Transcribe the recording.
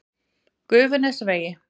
Gufunesvegi